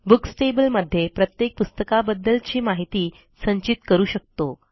books table मध्ये प्रत्येक पुस्तकाबद्दलची माहिती संचित करू शकतो